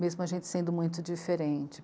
mesmo a gente sendo muito diferente.